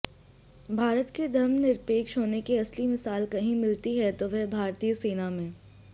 भारत के धर्मनिरपेक्ष होने की असली मिसाल कही मिलती है तो वह भारतीय सेना में